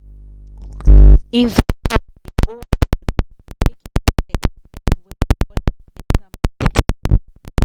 investors dey hold body make internet connect well before dem enter market